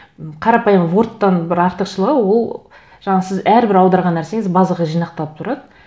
қарапайым вордтан бір артықшылығы ол жаңа сіз әрбір аударған нәрсеңіз базаға жинақталып тұрады